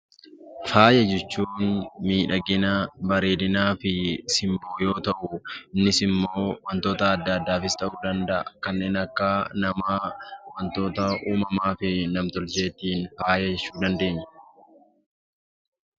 Faaya jechuun bareedina, miidhagina fi simboo yoo ta'u, innis immoo waantota addaa addaa ta'uu danda'a. Kanneen akka namaa wantoota uumamaa fi nam-tolcheetiin argaman faaya jechuu dandeenya.